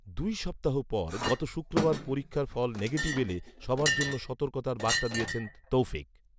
দুই সপ্তাহ পর গত শুক্রবার পরীক্ষার ফল ‘নেগিটিভ’ এলে সবার জন্য সতর্কতার বার্তা দিয়েছেন তৌফিক